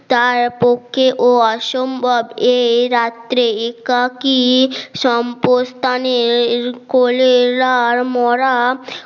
তার পক্ষে ও অসম্ভব এই রাত্রে একাকী সম্পদ স্থানে কোলেরার মরা